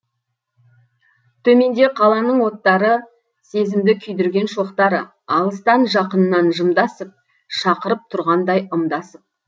төменде қаланың оттары сезімді күйдірген шоқтары алыстан жақыннан жымдасып шақырып тұрғандай ымдасып